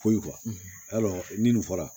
Foyi yarɔ nin fɔra